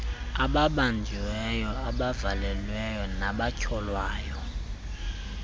ababanjiweyo abavalelweyo nabatyholwayo